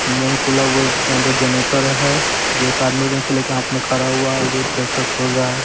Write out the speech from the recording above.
Engine खुला हुआ है इसके अंदर जनरेटर है जो एक आदमी नीचे लेके हाथ में खड़ा हुआ है जो ट्रैक्टर खोल रहा है।